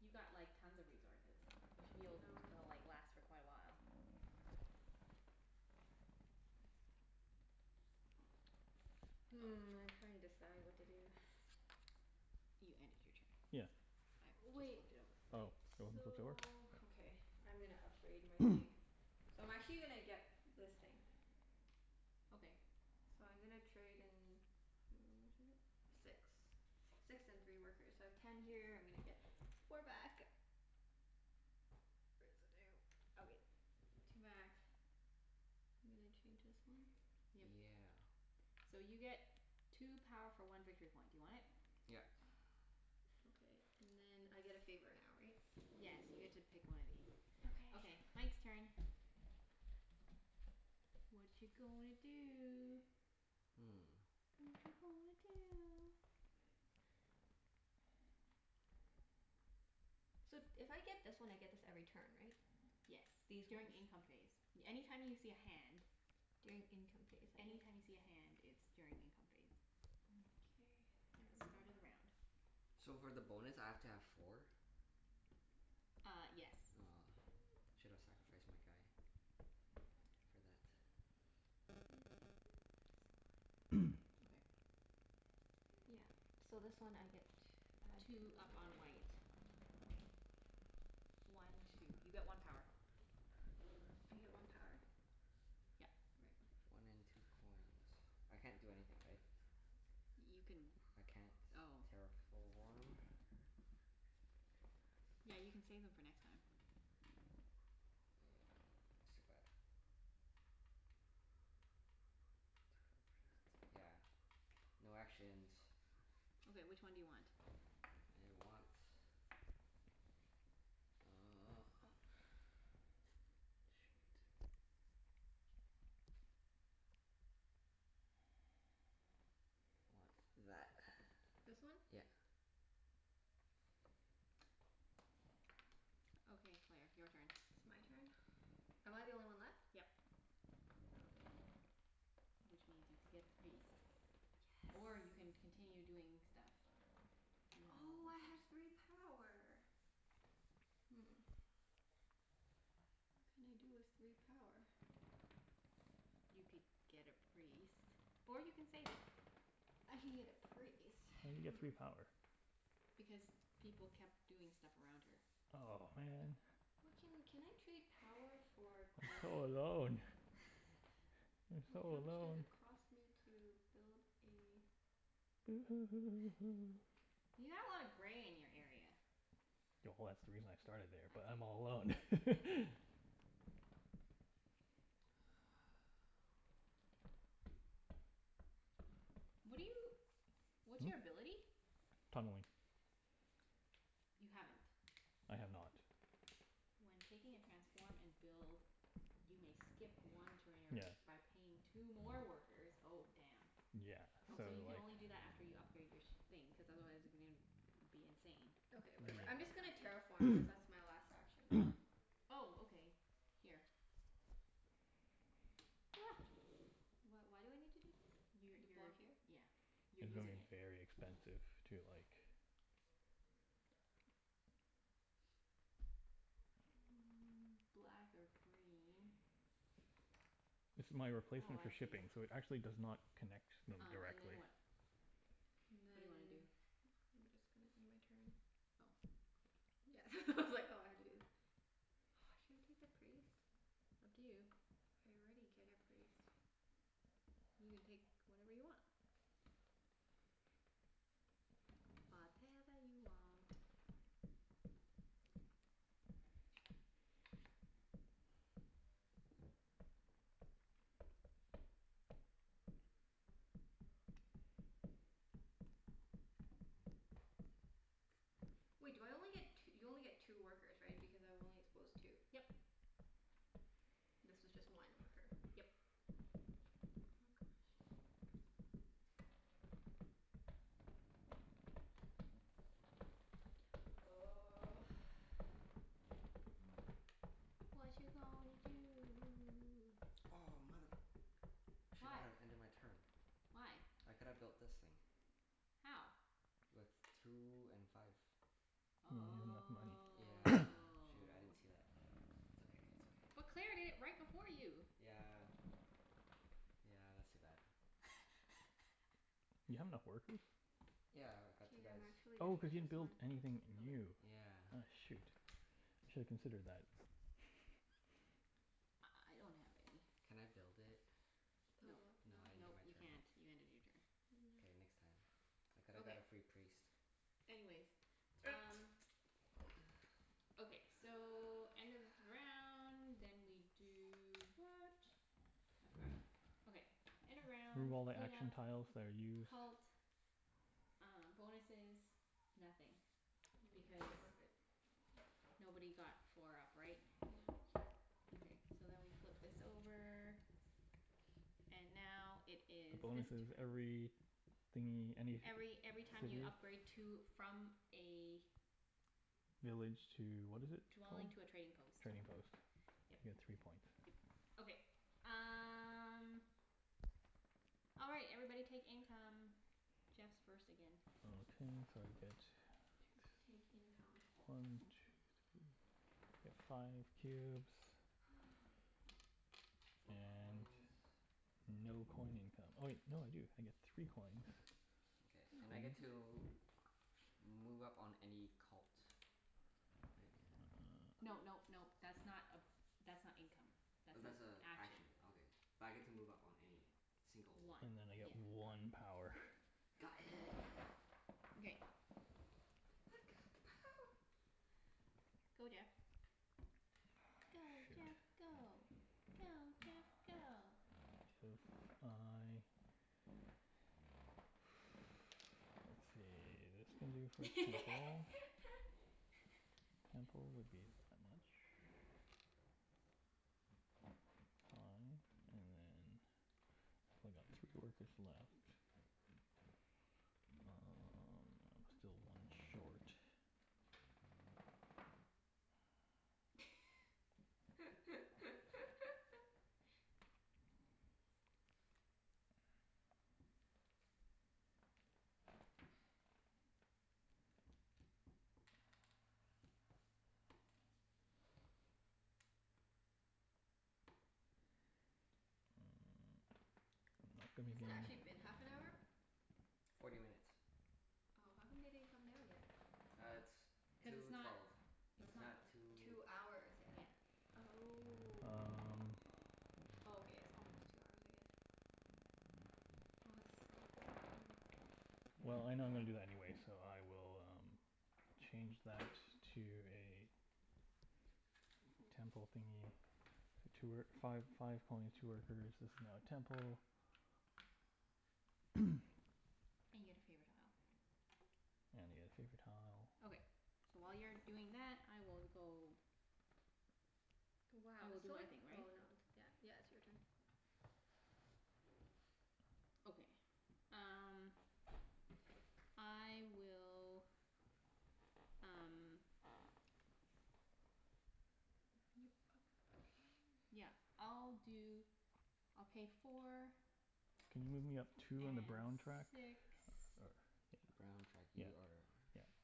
You've got like tons of resources. You should be I able to know. l- like last for quite a while. Hmm, I'm trying to decide what to do. You ended your turn. Yeah. I just Wait. flipped it over for Oh, you. you want them flipped over? So, okay, I'm gonna upgrade my thing. So I'm actually gonna get this thing. Okay. So I'm gonna trade in, how much is it? Six. Six and three workers. So I have ten here. I'm gonna get four back. Where's the damn, okay, two back. I'm gonna change this one. Yep. Yeah. So you get two power for one victory point. Do you want it? Yep. Okay. And then I get a favor now, right? Yes, you get to pick one of these. Okay, Okay. Mike's turn. Watcha gonna do? Hmm. Watcha gonna do? So if I get this one I get this every turn, right? Yes. These ones. During income phase. Any time you see a hand During income phase. Okay. Any time you see a hand it's during income phase. Mkay. At the Where start am I? of the round. So for the bonus I have to have four? Ah, yes. Aw, should have sacrificed my guy. For that. I'm gonna take this one. Okay. Yeah. So this one I get tw- add Two two up over on there. white. One two. You get one power. I get one power? Yep. Right. Okay. One in two coins. I can't do anything, right? You can, I can't oh. terraform. Yeah, you can save them for next time. Yeah, I still got Two for a priest. Yeah, no actions. Okay, which one do you want? I want Uh shit. Want that. This one? Yep. Okay, Claire. Your turn. It's my turn? Am I the only one left? Yep. Oh, okay. Which means you'd get the priest, or Yes. you can continue doing stuff. You have no Oh, more I have three power. Hmm. What can I do with three power? You could get a priest. Or you can save it. I can get a priest. And you Hmm. get three power. Because people kept doing stuff around her. Oh, man. Why can, can I trade power for I'm so coin? alone. I'm so Wait, how much does alone. it cost me to build a You have a lotta gray in your area. Yeah, well that's the reason I started there, I but see. I'm all alone. What are you, what's Hmm? your ability? Tunneling. You haven't? I have not. When taking a transform and build you may skip one trainer Yeah. by paying two more workers. Oh, damn. Yeah, Oh, so so you like can only do that after you upgrade your sh- thing, cuz otherwise you're gonna be insane. Okay, whatever. I'm I just gonna see. terraform cuz that's my last action. Oh, okay. Here. Wh- why do I need to do this? You To block you're, here? yeah, you're It's Okay. gonna be using it. very expensive to like Black or green. This is my Oh, replacement for I see. shipping so it actually does not connect n- Um and then directly. what? And What do you wanna then do? I'm just gonna do my turn. Oh, okay. Yeah it's all I had to do. Should I take the priest? Up to you. I already get a priest. You can take whatever you want. Whatever you want. Wait do I only get t- you only get two workers, right? Because I've only exposed two. Yep. This was just one worker. Yep. Oh gosh. Watcha gonna do? Oh, mother, I should not have ended my turn. Why? Why? I could've built this thing. How? With two and five. He didn't have Oh. enough But Yeah. money. Claire Shoot. I didn't see that. did It's it okay. It's okay. right before you. Yeah. Yeah, that's too bad. You have enough workers? Yeah, I got K, two I'm guys. actually Oh, gonna cuz get you didn't this build one. anything new. Okay. Yeah. Aw shoot, you shoulda considered that. I I I don't have any. Can I build it? Build Nope. what? No, No. I ended Nope, my you turn. can't. You ended your turn. K, No. next time. I coulda got Okay. a free priest. Anyways, um Okay, so end of round, then we do what? I've forgotten. Okay, end of Remove round all the clean up action tiles that are used Cult, uh bonuses, nothing. Mm yeah, I think Because we're good. nobody got four up, right? Yeah. Okay, so then we flip this over. And now it The is this bonus is turn every thingie, Every any every time you city? upgrade to, from a Village to, what is it Dwelling called? to a trading post. Trading post. You Yep. get three points. Okay. Um All right. Everybody take income. Jeff's first again. Okay, so I get t- Take income. one two three, I get five cubes. Four And coins. no coin income. Oh wait, no I do. I get three coins. Okay. And I get Sweet. to move up on any cult. Great. No nope nope. That's not a, that's not income. Oh, That's an that's a action. action. Okay. But I get to move up on any single one, One, And then I right? yeah. get Got it. one power. Got it. Okay. I've got the power. Go Jeff. Go Ah, Jeff go. Go shoot. Jeff If go. I let's see. This can do first patrol. Temple would be that much. Five and then I got three workers left. Um I'm still one short. Mm, I'm not gonna Has it gi- actually been half an hour? Forty minutes. Oh. How come they didn't come down yet? Ah, it's two Cuz twelve. it's It's not not, two Two it's hours not, yet. yeah. Oh. Um Oh, okay. It's almost two hours I guess. Oh, it's so hot in here. Well, I know I'm gonna do that anyways, so I will um change that to a temple thingie. Two wor- five five coins, two workers. This is now a temple. And you get a favor tile. And I get a favor tile. Okay. So while you're doing that, I will go I Wow, will it's do so my like, thing, right? oh not, yeah, yeah. It's your turn. Okay. Um I will, um yeah, I'll When you do, upgrade I'll pay four Can you move me up two on the brown track? and six Or or Brown track. yeah. Yeah You are